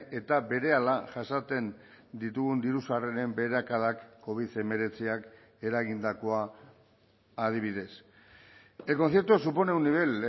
eta berehala jasaten ditugun diru sarreren beherakadak covid hemeretziak eragindakoa adibidez el concierto supone un nivel